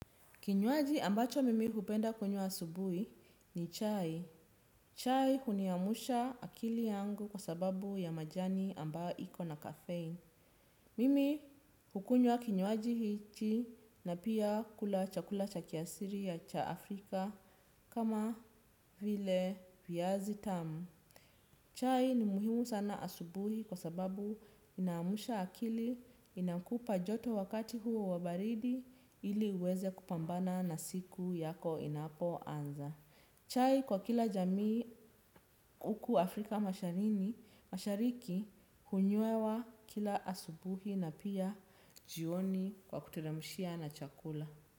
Kinywaji ambacho mimi hupenda kunywa asubuhi ni chai. Chai huniamsha akili yangu kwa sababu ya majani ambayo iko na caffeine. Mimi hukunyua kinywaji hiki na pia kula chakula cha kiasili cha Afrika kama vile viazitamu. Chai ni muhimu sana asubuhi kwa sababu inamsha akili inakupa joto wakati huo wa baridi ili uweze kupambana na siku yako inapoanza. Chai kwa kila jamii huku Afrika mashariki hunywewa kila asubuhi na pia jioni kwa kuteremshia na chakula.